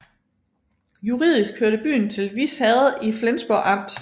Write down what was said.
Juridisk hørte byen til Vis Herred i Flensborg Amt